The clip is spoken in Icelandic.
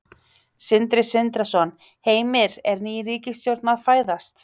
Sindri Sindrason: Heimir, er ný ríkisstjórn að fæðast?